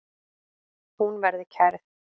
Hún verði kærð.